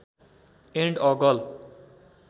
and a girl